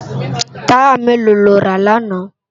Tàyá méló ló rá làná?